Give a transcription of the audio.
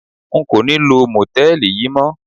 N kò ní lo Mòtẹ́lìì yí mọ́.